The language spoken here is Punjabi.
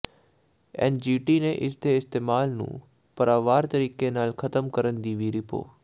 ਐੱਨਜੀਟੀ ਨੇ ਇਸ ਦੇ ਇਸਤੇਮਾਲ ਨੂੰ ਪੜਾਅਵਾਰ ਤਰੀਕੇ ਨਾਲ ਖ਼ਤਮ ਕਰਨ ਦੀ ਵੀ ਰਿਪੋ